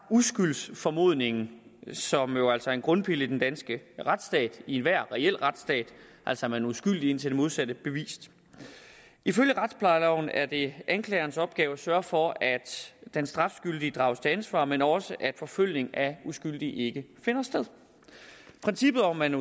uskyldsformodningen som jo altså en grundpille i den danske retsstat i enhver reel retsstat altså at man er uskyldig indtil det modsatte er bevist ifølge retsplejeloven er det anklagerens opgave at sørge for at den strafskyldige drages til ansvar men også at forfølgning af uskyldige ikke finder sted princippet om at